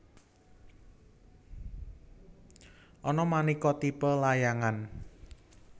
Ana manéka tipe layangan